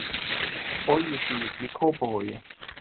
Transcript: Bogi býr í Kópavogi.